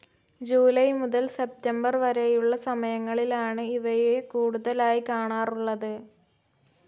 July മുതൽ September വരെയുള്ള സമയങ്ങളിലാണ് ഇവയെ കൂടുതലായി കാണാറുള്ളത്.